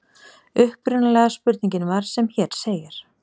Upprunalega spurningin var sem hér segir: